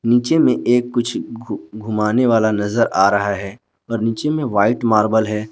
नीचे में एक कुछ घु घूमाने वाला नजर आ रहा है और नीचे में व्हाइट मार्बल है।